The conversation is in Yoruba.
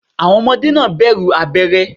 Àwọn Ọmọdé náà bẹ̀rù abéré